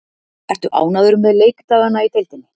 Ertu ánægður með leikdagana í deildinni?